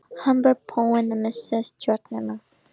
Hann var búinn að missa stjórnina.